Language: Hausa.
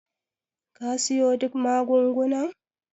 ka siyo duk magungunan?